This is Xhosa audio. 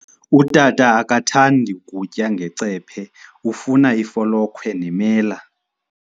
Utata akathandi kutya ngecephe, ufuna ifolokhwe nemela.